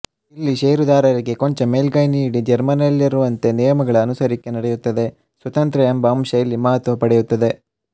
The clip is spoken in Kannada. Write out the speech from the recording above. ಇಲ್ಲಿ ಶೇರುದಾರರಿಗೆ ಕೊಂಚ ಮೇಲ್ಗೈ ನೀಡಿ ಜರ್ಮನಿಯಲ್ಲಿರುವಂತೆ ನಿಯಮಗಳ ಅನುಸರಿಸಿಕೆ ನಡೆಯುತ್ತದೆಸ್ವತಂತ್ರ ಎಂಬ ಅಂಶ ಇಲ್ಲಿ ಮಹತ್ವ ಪಡೆಯುತ್ತದೆ